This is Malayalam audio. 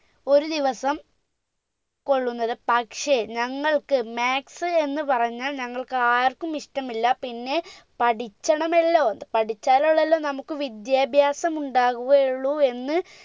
ഒരു ദിവസം കൊള്ളുന്നത് പക്ഷെ ഞങ്ങൾക്ക് maths എന്ന് പറഞ്ഞാൽ ഞങ്ങൾക്ക് ആർക്കും ഇഷ്ടമല്ല പിന്നെ പറ്റിച്ചണമല്ലോ ത് പഠിച്ചാലല്ലല്ലോ നമുക്ക് വിദ്യാഭ്യാസം ഉണ്ടാവുകയുള്ളൂ എന്ന്